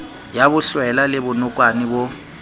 ya bohlwela le bonokwane bo